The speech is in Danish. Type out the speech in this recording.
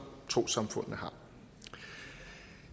trossamfundene har